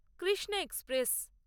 Krishna express